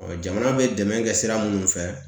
jamana bɛ dɛmɛ kɛ sira minnu fɛ